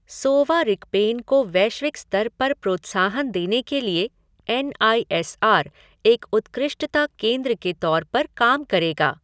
सोवा रिगपेन को वैश्विक स्तर पर प्रोत्साहन देने के लिए एन आई एस आर एक उत्कृष्टता केंद्र के तौर पर काम करेगा।